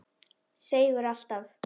Seigur alltaf.